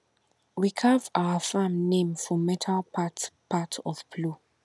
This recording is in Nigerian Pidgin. we carve our farm name for metal part part of plow